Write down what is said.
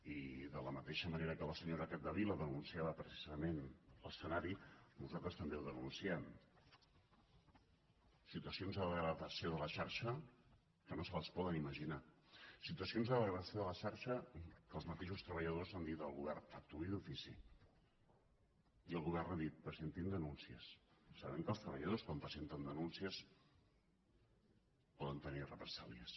i de la mateixa manera que la senyora capdevila denunciava precisament l’escenari nosaltres també el denunciem situacions de degradació de la xarxa que no se les poden imaginar situacions de degradació de la xarxa que els mateixos treballadors han dit al govern actuï d’ofici i el govern ha dit presentin denúncies sabent que els treballadors quan presenten denúncies poden tenir represàlies